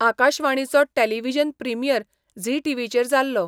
आकाशवाणीचो television premiere Zee टी.व्ही.चेर जाल्लो.